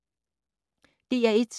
DR1